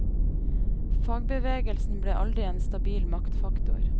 Fagbevegelsen ble aldri en stabil maktfaktor.